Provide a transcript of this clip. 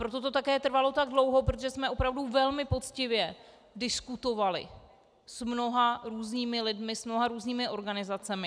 Proto to také trvalo tak dlouho, protože jsme opravdu velmi poctivě diskutovali s mnoha různými lidmi, s mnoha různými organizacemi.